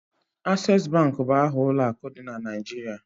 Ases Bank bụ aha ụlọ akụ dị na Naịjirịa